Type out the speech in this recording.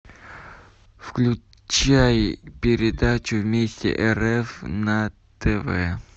включай передачу вместе рф на тв